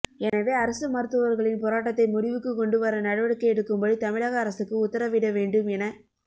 எனவே அரசு மருத்துவா்களின் போராட்டத்தை முடிவுக்கு கொண்டு வர நடவடிக்கை எடுக்கும்படி தமிழக அரசுக்கு உத்தரவிட வேண்டும் எனக்